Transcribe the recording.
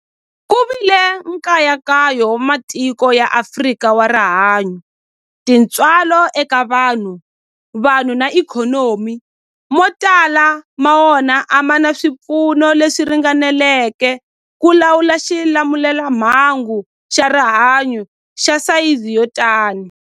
Ku vile nkayakayo wa matiko ya Afrika wa rihanyu, tintswalo eka vanhu, vanhu na ikhonomi, mo tala ma wona a ma na swipfuno leswi ringaneleke ku lawula xilamulelamhangu xa rihanyu xa sayizi yo tani.